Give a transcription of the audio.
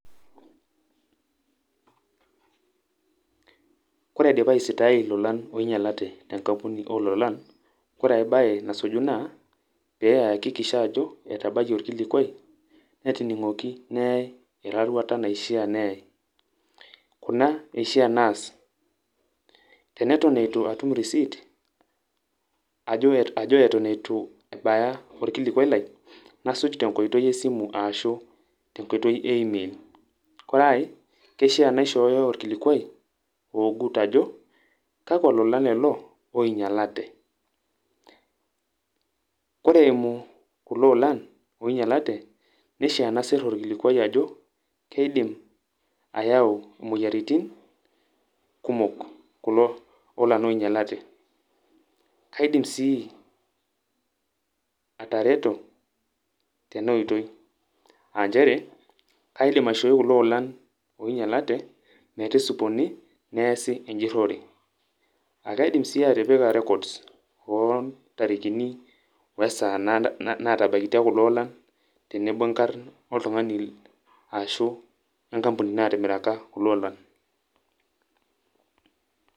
Ore aidipa aisitaai ilolan oinyalate tenkampuni ololan, kore ai bae nasuju naa, pe eakikisha ajo etabayie olkilikwai, netining'oki neai eraruata naishaa neyai. Kuna eishaa naas. Teneton eitu atum risiit, ajo eton eitu ebaya orkilikwai lai, nasuj tenkoitoi esimu ashu tenkoitoi e email. Kore ai, keishaa naishooyo orkilikwai, oogut ajo, kakwa olan lelo oinyalate. Kore eimu kulo olan oinyalate, neishaa nasir orkilikwai ajo, keidim ayau moyiaritin kumok kulo olan oinyalate. Kaidim si atareto tenoitoi, ah njere kaidim aishoi kulo olan oinyalate, metisipuni, neesi ejurrore. Akaidim si atipika records ontarikini, wesaa natabaikitia kulo olan, tenebo nkarn oltung'ani ashu wenkampuni natimiraka kulo olan.